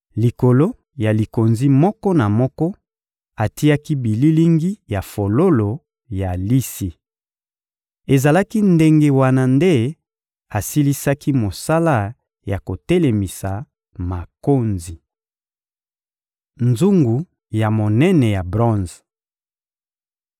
Likolo ya likonzi moko na moko, atiaki bililingi ya fololo ya lisi. Ezalaki ndenge wana nde asilisaki mosala ya kotelemisa makonzi. Nzungu ya monene ya bronze (2Ma 4.2-5)